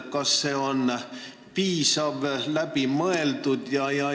Kas see on piisav ja läbi mõeldud?